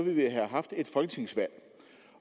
vi have haft et folketingsvalg